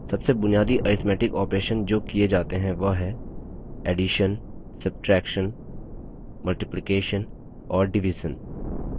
सबसे बुनियादी arithmetic operations जो the जाते हैं वह हैं addition addition subtraction subtraction multiplication multiplication और division division